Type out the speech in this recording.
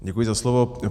Děkuji za slovo.